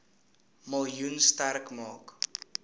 miljoen sterk maak